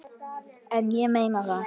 En ég meina það.